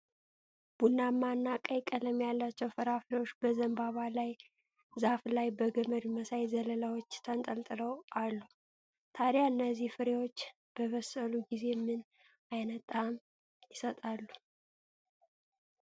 ቡናማና ቀይ ቀለም ያላቸው ፍራፍሬዎች በዘንባባ ዛፍ ላይ በገመድ መሳይ ዘለላዎች ተንጠልጥለው አሉ። ታዲያ እነዚህ ፍሬዎች በበሰሉ ጊዜ ምን ዓይነት ጣዕም ይሰጣሉ?